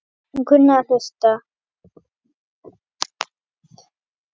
Og kunni að hlusta.